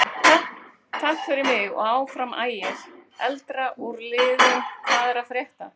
Takk fyrir mig og Áfram Ægir.Eldra úr liðnum Hvað er að frétta?